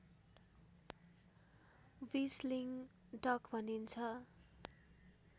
whistling duck भनिन्छ